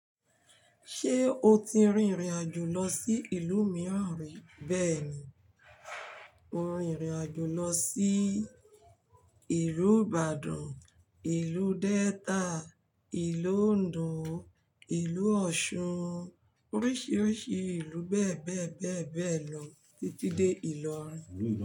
Ṣé o ti rìn irìn àjò lọ sí ìlú mìíràn rí? Bẹ́ẹ̀ni, mo rìn irìn àjò lọ sí ìlú Ìbàdàn, ìlú Delta, ìlú Ondo, ìlú Ọ̀ṣun, oríṣìíríṣìí ìlú bẹ́ẹ̀ bẹ́ẹ̀ bẹ́ẹ̀ bẹ́ẹ̀ lọ títí dé Ìlọrin.